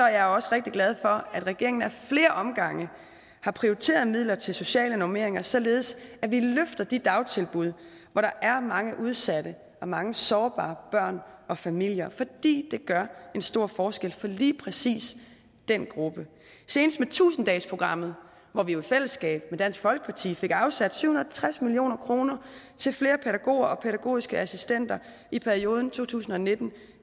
jeg også rigtig glad for at regeringen ad flere omgange har prioriteret midler til sociale normeringer således at vi løfter de dagtilbud hvor der er mange udsatte og mange sårbare børn og familier fordi det gør en stor forskel for lige præcis den gruppe senest med tusind dagesprogrammet hvor vi jo i fællesskab med dansk folkeparti fik afsat syv hundrede og tres million kroner til flere pædagoger og pædagogiske assistenter i perioden to tusind og nitten